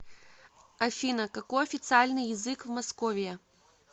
афина какой официальный язык в московия